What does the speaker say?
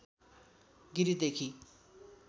गिरिदेखि